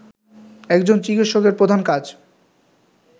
একজন চিকিৎসকের প্রধান কাজ